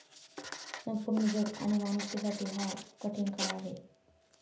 संपूर्ण जग आणि माणुसकीसाठी हा कठीण काळ आहे.